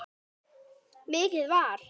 Mikið var!